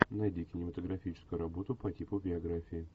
найди кинематографическую работу по типу биографии